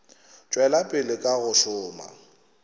tšwela pele ka go šoma